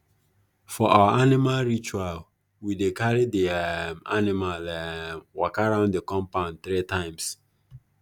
for our animal ritual we dey carry the um animal um waka round the compound three times